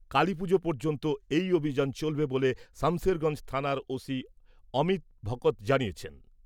কালিপূজো পর্যন্ত এই অভিযান চলবে বলে, সামশেরগঞ্জ থানার ওসি অমিত ভকত জানিয়েছেন।